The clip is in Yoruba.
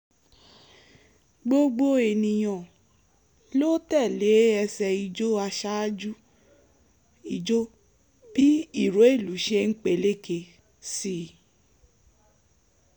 gbogbo ènìyàn ló tẹ́lẹ̀ ẹsẹ̀ ijó aṣáájú ìjó bí ìró ìlú ṣe ń peléke sí i